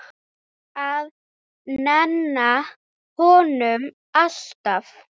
Að nenna honum, alltaf.